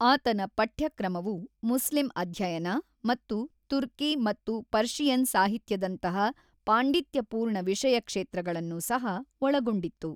ಆತನ ಪಠ್ಯಕ್ರಮವು ಮುಸ್ಲಿಂ ಅಧ್ಯಯನ ಮತ್ತು ತುರ್ಕಿ ಮತ್ತು ಪರ್ಷಿಯನ್ ಸಾಹಿತ್ಯದಂತಹ ಪಾಂಡಿತ್ಯಪೂರ್ಣ ವಿಷಯಕ್ಷೇತ್ರಗಳನ್ನು ಸಹ ಒಳಗೊಂಡಿತ್ತು.